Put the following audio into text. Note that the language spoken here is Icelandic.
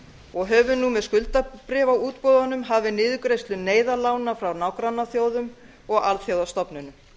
og höfum nú með skuldabréfaútboðunum hafið niðurgreiðslu neyðarlána frá nágrannaþjóðum og alþjóðastofnunum